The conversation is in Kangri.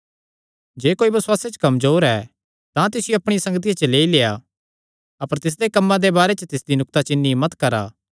जे कोई बसुआसे च कमजोर ऐ तां तिसियो अपणिया संगतिया च लेई लेआ अपर तिसदे कम्मां दे बारे च तिसदी नुक्ताचीनी मत करा